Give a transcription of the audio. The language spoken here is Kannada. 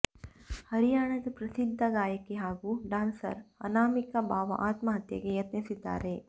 ಹರ್ಯಾಣದ ಪ್ರಸಿದ್ಧ ಗಾಯಕಿ ಹಾಗೂ ಡಾನ್ಸರ್ ಅನಾಮಿಕಾ ಬಾವಾ ಆತ್ಮಹತ್ಯೆಗೆ ಯತ್ನಿಸಿದ್ದಾರೆ